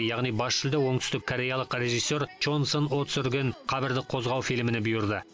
яғни бас жүлде оңтүстіккореялық режиссер чон сын о түсірген қабірді қозғау фильміне бұйырды